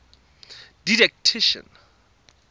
didactician